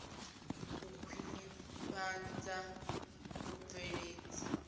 u khwinifhadza vhubveledzi na u